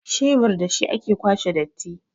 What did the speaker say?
shebur da shi ake kwashe datti